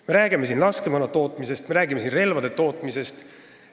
Me räägime siin laskemoona ja relvade tootmisest.